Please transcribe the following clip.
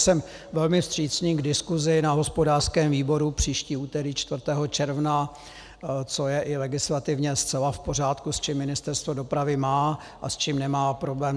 Jsem velmi vstřícný k diskusi na hospodářském výboru příští úterý 4. června, což je i legislativně zcela v pořádku, s čím Ministerstvo dopravy má a s čím nemá problém.